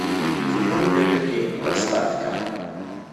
кино для людей поставь ка